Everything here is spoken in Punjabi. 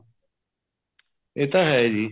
ਇਹ ਤਾਂ ਹੈ ਜੀ